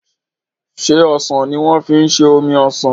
ṣe osàn ní wan fí ṣe omí osán?